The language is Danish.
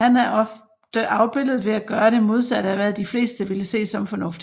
Han er ofte afbildet ved at gøre det modsatte af hvad de fleste ville se som fornuftigt